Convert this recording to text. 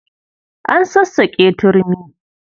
An sassaƙe turmi.